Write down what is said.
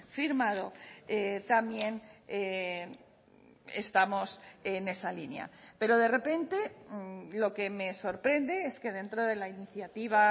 firmado también estamos en esa línea pero de repente lo que me sorprende es que dentro de la iniciativa